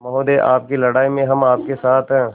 महोदय आपकी लड़ाई में हम आपके साथ हैं